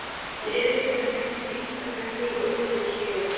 Lítið er vitað um lengd einstakra hlý- og jökulskeiða.